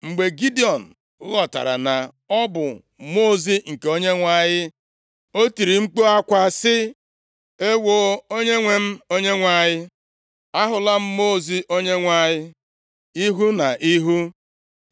Mgbe Gidiọn ghọtara na ọ bụ Mmụọ ozi nke Onyenwe anyị, o tiri mkpu akwa sị, “Ewoo! Onyenwe m Onyenwe anyị! Ahụla m Mmụọ ozi Onyenwe anyị ihu na ihu!”